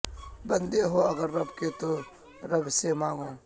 بندے ہو اگر رب کے تو رب سے مانگو